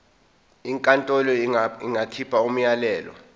inkantolo ingakhipha umyalelo